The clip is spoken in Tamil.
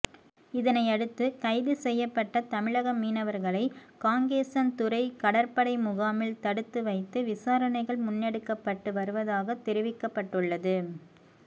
இதனையடுத்து கைது செய்யப்பட்ட தமிழக மீனவர்களை காங்கேசன்துறை கடற்படைமுகாமில் தடுத்து வைத்து விசாரணைகள் முன்னெடுக்கப்பட்டு வருவதாக தெரிவிக்கப்பட்டுள்ளது